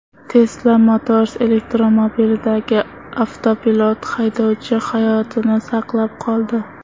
Tesla Motors elektromobilidagi avtopilot haydovchi hayotini saqlab qoldi.